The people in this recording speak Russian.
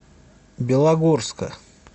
белогорска